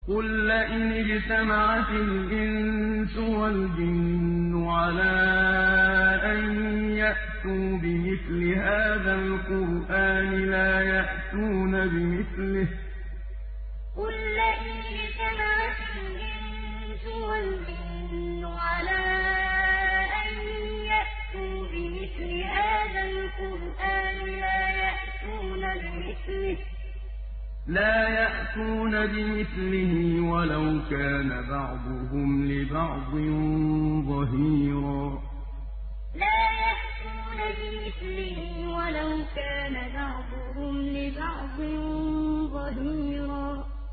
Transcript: قُل لَّئِنِ اجْتَمَعَتِ الْإِنسُ وَالْجِنُّ عَلَىٰ أَن يَأْتُوا بِمِثْلِ هَٰذَا الْقُرْآنِ لَا يَأْتُونَ بِمِثْلِهِ وَلَوْ كَانَ بَعْضُهُمْ لِبَعْضٍ ظَهِيرًا قُل لَّئِنِ اجْتَمَعَتِ الْإِنسُ وَالْجِنُّ عَلَىٰ أَن يَأْتُوا بِمِثْلِ هَٰذَا الْقُرْآنِ لَا يَأْتُونَ بِمِثْلِهِ وَلَوْ كَانَ بَعْضُهُمْ لِبَعْضٍ ظَهِيرًا